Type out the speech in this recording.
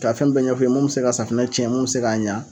Ka fɛn bɛɛ ɲɛf'u ye mun bi se ka safunɛ cɛn mun bi se k'a ɲa